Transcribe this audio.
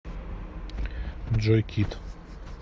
джой кит